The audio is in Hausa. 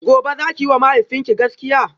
gobe zaki yiwa mahaifinki gaskiya?